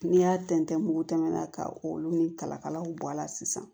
N'i y'a tɛntɛn mugu tɛmɛ na ka olu ni kalakalaw bɔ a la sisan